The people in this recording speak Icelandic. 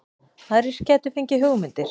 Aðrir gætu fengið hugmyndir